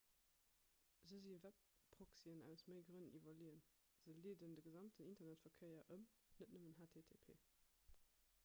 se si webproxyen aus méi grënn iwwerleeën se leeden de gesamten internetverkéier ëm net nëmmen http